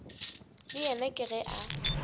le yena ke ge a